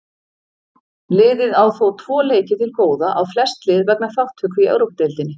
Liðið á þó tvo leiki til góða á flest lið vegna þátttöku í Evrópudeildinni.